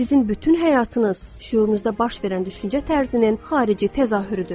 Sizin bütün həyatınız şüurunuzda baş verən düşüncə tərzinin xarici təzahürüdür.